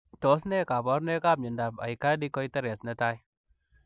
Tos ne kabarunoik ap miondoop aikadi koiteres netai?